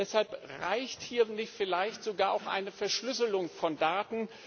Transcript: Deshalb reicht hier vielleicht sogar auch eine Verschlüsselung von Daten.